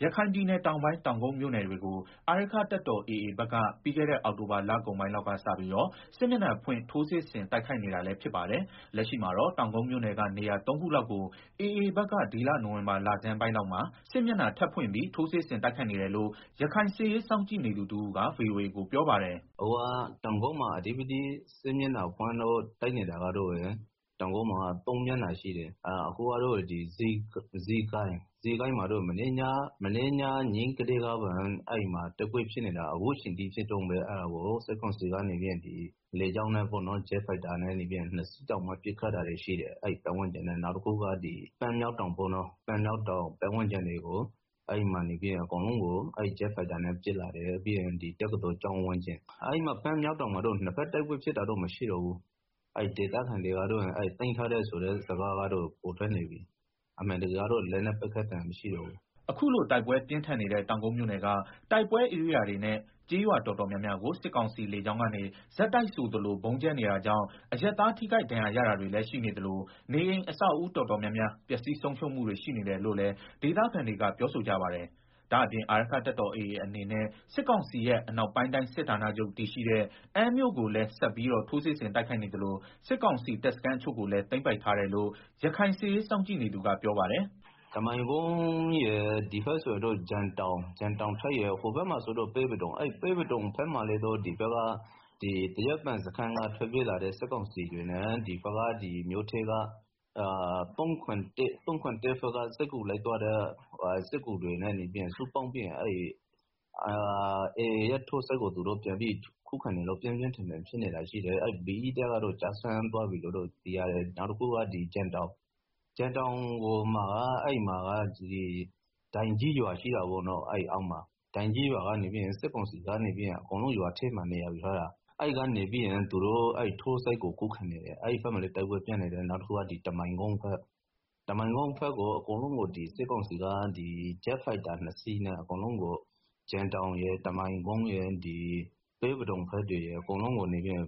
ရခိုင်ပြည်နယ်တောင်ပိုင်း တောင်ကုတ်မြို့နယ်တွေကို အာရက္ခတပ်တော် AA ဘက်က ပြီးခဲ့တဲ့ အောက်တိုဘာလကုန်ပိုင်းလောက်ကစပြီး စစ်မျက်နှာဖွင့် ထိုးစစ်ဆင်တိုက်ခိုက်နေပါတယ်။ လက်ရှိမှာတော့ တောင်ကုတ်မြို့နယ်က နေရာသုံးခုလောက်ကို AA ဘက်က ဒီလနိုဝင်ဘာလဆန်းပိုင်း AAဘက်က စစ်မျက်နှာ ထပ်ဖွင့်ပြီး ထိုးစစ်ဆင်တိုက်ခိုက်နေတယ်လို့ ရခိုင်စစ်ရေးစောင့်ကြည့်နေသူ တဦး က ဗွီအိုအေကို ပြောပါတယ်။ “အခုလက်ရှိ တောင်ကုတ်မှာ စစ်မျက်နှာဖွင့်လို့တိုက်နေတာက ၃ မျက်နှာရှိတယ်။ ဇီးကိုင်းမှာတော့ မနေ့က ညကနေတိုက်ပွဲတွေဖြစ်နေတာ အခုထိ ဖြစ်နေတုန်းပဲ။ စစ်ကောင်စီကတော့ ဂျက်ဖိုက်တာ နှစ်စီးနဲ့ လာပြီး ပစ်နေတယ်။ နောက်တခုကတော့ ပန်းမြောက်တောင်ပတ်ဝန်းကျင်တွေကို ဂျက်ဖိုက်တာနဲ့ ပစ်တယ်။ ပြီးတော့တက္ကသိုလ်ကျောင်းဝန်းကျင်။ပန်းမြောက်တောင်မှာတော့ နှစ်ဘက်တိုက်ပွဲဖြစ်တာမရှိတော့ဘူး၊ သိမ်းပိုက်ပြီလို့လည်း သတင်းထွက်နေတယ်။လက်နက်ပစ်သံတွေမရှိတော့ဘူး။” အခုလိုတိုက်ပွဲပြင်းထန်နေတဲ့ တောင်ကုတ်မြို့နယ်က တိုက်ပွဲဧရိယာတွေနဲ့ ကျေးရွာတော်တော် များများကို စစ်ကောင်စီလေကြောင်းကနေ ဆက်တိုက်ဆိုသလို ဗုံးကြဲနေတာကြောင့် အရပ်သားတွေ ထိခိုက်ဒဏ်ရာရတာရှိနေသလို နေအိမ်အဆောက်အဦးတော်တော်များများ ပျက်စီးဆုံးရှုံးမှုတွေ ရှိနေတယ်လို့လည်း ဒေသခံတွေက ပြောကြပါတယ်။ ဒါ့အပြင် အာရက္ခတပ်တော် AAအနေနဲ့ စစ်ကောင်စီရဲ့ အနောက်ပိုင်းတိုင်းစစ်ဌာနချုပ် တည်ရှိတဲ့ အမ်းမြို့ ကိုလည်းဆက်လက်ပြီးတော့ ထိုးစစ်ဆင်တိုက်ခိုက်နေသလို စစ်ကောင်စီတပ်စခန်း တချို့ကိုလည်း သိမ်းပိုက်ထားတယ်လို့ ရခိုင်စစ်ရေးစောင့်ကြည့်နေသူ ကပြောပါတယ်။ “တမိုင်ကုန်းရယ်၊ ဒီဘက်ဆိုရင်တော့ ဂျင်တောင်ရယ်၊ ဟိုဘက်မှာဆိုရင်တော့ ပဲပဒုံဘက်မှာလည်း သရက်ပင်စခန်းကထွက်ပြေးလာတဲ့ စစ်ကောင်စီတပ်ဖွဲ့ဝင်တွေနဲ့ ၃၇၁ ဘက်က စစ်ကူလိုက်သွားတဲ့ သူတွေနဲ့ ပူးပေါင်းပြီးတော့ AA ထိုးစစ်ကို ပြန်ပြီးတော့ ခုခံနေလို့ တိုက်ပွဲပြင်းထန်နေတယ်။ BE တပ်ကတော့ ကျသွားပြီလို့ သိရတယ်။ ပြီးတော့ ဂျင်တောင်အနီးက ဒိုင်ကြီးရွာမှာ စစ်ကောင်စီက နေရာယူထားပြီးတော့ ခုခံနေတယ်။ အဲဘက်မှာလည်း တိုက်ပွဲပြင်းထန်နေတယ်။နောက်တခုက စစ်ကောင်စီက ဂျက်ဖိုက်တာနှစ်စီးနဲ့ ဂျင်တောင်ရယ်၊ တမိုင်ကုန်းရယ်၊ ပဲပဒုံဘက်တွေရယ် အကုန်လုံးကို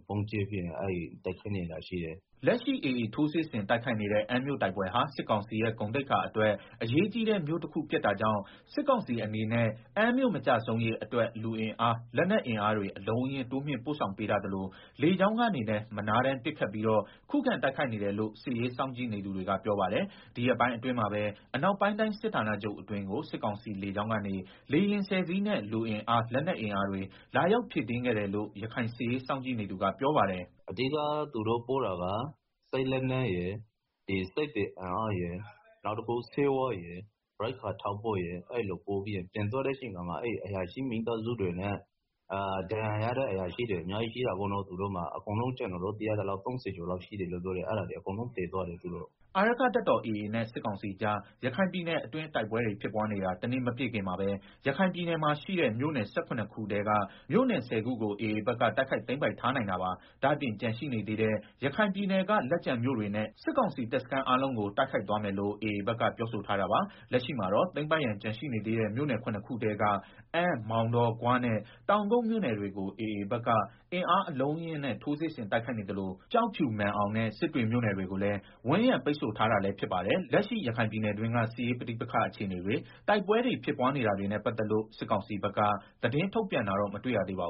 ဗုံးကြဲပြီးတော့ တိုက်ခိုက်နေတာရှိတယ်။” လက်ရှိ AA ထိုးစစ်ဆင်တိုက်ခိုက်နေတဲ့ အမ်းမြို့ဟာ စစ်ကောင်စီရဲ့ ဂုဏ်သိက္ခာအတွက် အရေးကြီးတဲ့ မြို့ဖြစ်တာကြောင့် စစ်ကောင်စီအနေနဲ့ အမ်းမြို့မကျဆုံးရေးအတွက် လူအင်အား၊ လက်နက်အင်အား အလုံးအရင်း တိုးမြှင့်ပို့ဆောင်ပေးထားသလို လေကြောင်းကနေလည်း မနားတမ်းပစ်ခတ်ပြီး ခုခံတိုက်ခိုက်နေတယ်လို့ စစ်ရေးစောင့်ကြည့်သူတွေ ကပြောပါတယ်။ ဒီရက်ပိုင်းအတွင်းမှာပဲ အနောက်ပိုင်းတိုင်းစစ်ဌာနချုပ်အတွင်းကို စစ်ကောင်စီလေကြောင်းကနေ လေယာဉ်ဆယ်စီးလောက်နဲ့ လူအင်အား၊ လက်နက်အင်အားတွေ လာရောက်ဖြည့်တင်းခဲ့တယ်လို့ ရခိုင်စစ်ရေး စောင့်ကြည့်နေသူကပြောပါတယ်။ “အဓိက သူတို့ပို့တာက စစ်လက်နက်ရယ်၊ စစ်သည်အင်အားရယ်၊ ဆေးဝါးရယ်၊ ရိက္ခာထောက်ပို့ရယ် အဲလိုပို့ပြီးတော့ပြန်သွားတဲ့အချိန်မှာ အရာရှိမိသားစုတွေနဲ့ ဒဏ်ရာရထားတဲ့အရာရှိတွေ အများကြီး ရှိတယ်ပေါ့နော်။ ကျနော်သိရသလောက်ဆိုရင် ၃ဝ လောက်ရှိတယ်လို့ သိရတယ်။ အဲဒါတွေကို အကုန်ပြန်ပြီးတော့ သယ်သွားတယ်။” အာရက္ခတပ်တော် AA နဲ့စစ်ကောင်စီကြား ရခိုင်ပြည်နယ်အတွင်း တိုက်ပွဲတွေဖြစ်နေတာ တနှစ် မပြည့်ခင်မှာပဲရခိုင်ပြည်နယ်ရဲ့ မြို့နယ် ၁၇ ခုထဲက မြို့နယ် ၁ဝ ခုကို AA ဘက်က တိုက်ခိုက် သိမ်းပိုက်ထားနိုင်တာပါ။ ဒါ့အပြင်ကျန်ရှိနေသေးတဲ့ ရခိုင်ပြည်နယ်က လက်ကျန်မြို့တွေနဲ့ စစ်ကောင်စီတပ်စခန်းအားလုံးကို တိုက်ခိုက်သွားမယ်လို့ AAဘက်က ပြောထားပါတယ်။ လက်ရှိမှာတော့ သိမ်းပိုက်ဖို့ကျန်နေသေးတဲ့ မြို့နယ် ၇ ခုထဲက အမ်း၊ မောင်တော၊ ဂွနဲ့ တောင်ကုတ် မြို့နယ်တွေကို AAဘက်က အင်အားအလုံးအရင်းနဲ့ ထိုးစစ်ဆင်တိုက်ခိုက်နေသလို ကျောက်ဖြူ၊ မာန်အောင်နဲ့ စစ်တွေမြို့နယ်တွေကိုလည်းဝိုင်းရံပိတ်ဆို့ထားတာလည်းဖြစ်ပါတယ်။ လက်ရှိ ရခိုင်ပြည်နယ်တွင်းက စစ်ရေးပဋိပက္ခအခြေအနေတွေ၊ တိုက်ပွဲတွေဖြစ်နေတာတွေနဲ့ပတ်သက်လို့ စစ်ကောင်စီဘက်က သတင်းထုတ်ပြန်တာ မတွေ့ရသေးပါဘူ